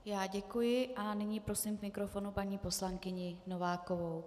Já děkuji a nyní prosím k mikrofonu paní poslankyni Novákovou.